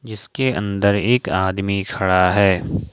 जिसके अंदर एक आदमी खड़ा है।